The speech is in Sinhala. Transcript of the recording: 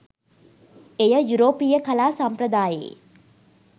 එය යුරෝපීය කලා සම්ප්‍රදායේ